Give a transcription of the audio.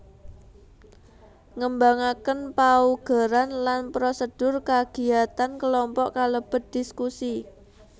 Ngembangaken paugeran lan prosedur kagiyatan kelompok kalebet dhiskusi